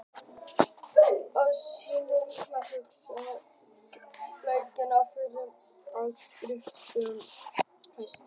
Á sínum tíma var Huxley líklega kunnastur fyrir alþýðleg skrif sín um vísindi.